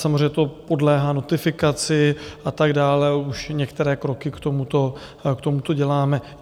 Samozřejmě to podléhá notifikaci a tak dále, už některé kroky k tomuto děláme.